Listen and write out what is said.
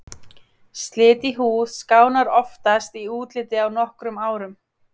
Slit í húð skánar oftast í útliti á nokkrum árum.